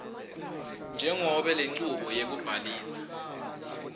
njengobe lenchubo yekubhalisa